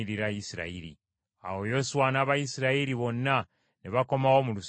Awo Yoswa n’Abayisirayiri bonna ne bakomawo mu lusiisira e Girugaali.